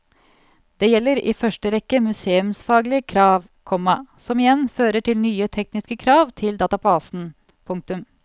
Det gjelder i første rekke museumsfaglige krav, komma som igjen fører til nye tekniske krav til databasen. punktum